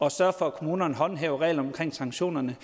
at sørge for at kommunerne håndhæver reglerne omkring sanktionerne